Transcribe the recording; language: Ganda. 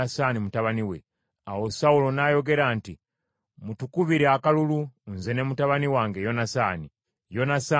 Awo Sawulo n’ayogera nti, “Mutukubire akalulu nze ne mutabani wange Yonasaani.” Yonasaani n’alondebwa.